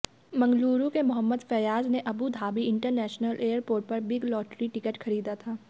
मंगलुरु के मोहम्मद फैयाज ने Abu Dhabi international airport पर बिग लॉटरी टिकट खरीदा था